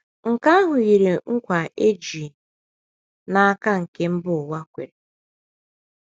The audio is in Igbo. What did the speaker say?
Nke ahụ yiri nkwa e ji n’aka nke mba ụwa kwere.